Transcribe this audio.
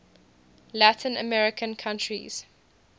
latin american countries